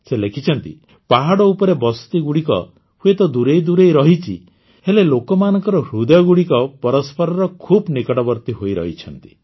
ସେ ଲେଖିଛନ୍ତି ପାହାଡ଼ ଉପରେ ବସତିଗୁଡ଼ିକ ହୁଏତ ଦୂରେଇ ଦୂରେଇ ରହିଛି ହେଲେ ଲୋକମାନଙ୍କର ହୃଦୟଗୁଡ଼ିକ ପରସ୍ପରର ଖୁବ୍ ନିକଟବର୍ତ୍ତୀ ହୋଇରହିଛନ୍ତି